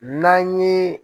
N'an ye